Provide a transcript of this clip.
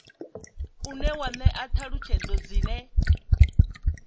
une wa ṅea ṱhalutshedzo dzine